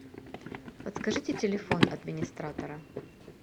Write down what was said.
подскажите телефон администратора